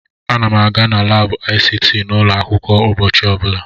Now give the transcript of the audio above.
Ana m aga na laabụ ICT n'ụlọ akwụkwọ ụbọchị ọbụla.